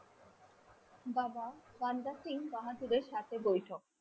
বাবা রাম দাস সিং সাথে বইথক